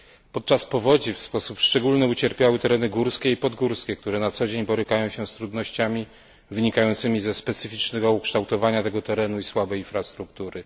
Podczas powodzi szczególnie ucierpiały tereny górskie i podgórskie, które na co dzień borykają się z trudnościami wynikającymi ze specyficznego ukształtowania terenu i słabej infrastruktury.